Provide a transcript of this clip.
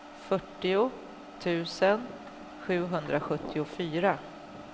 fyrtio tusen sjuhundrasjuttiofyra